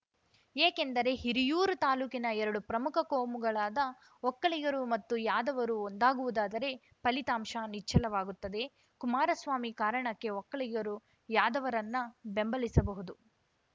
ಏಕೆಂದರೆ ಹಿರಿಯೂರು ತಾಲೂಕಿನ ಎರಡು ಪ್ರಮುಖ ಕೋಮುಗಳಾದ ಒಕ್ಕಲಿಗರು ಮತ್ತು ಯಾದವರು ಒಂದಾಗುವುದಾದರೆ ಫಲಿತಾಂಶ ನಿಚ್ಚಳವಾಗುತ್ತದೆ ಕುಮಾರಸ್ವಾಮಿ ಕಾರಣಕ್ಕೆ ಒಕ್ಕಲಿಗರು ಯಾದವರನ್ನ ಬೆಂಬಲಿಸಬಹುದು